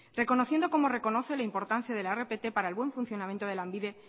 reconociendo como reconoce la importancia de la rpt para el buen funcionamiento de lanbide